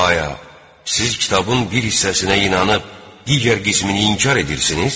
Aya, siz kitabın bir hissəsinə inanıb digər qismini inkar edirsiniz?